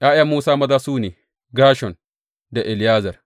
’Ya’yan Musa maza su ne, Gershom da Eliyezer.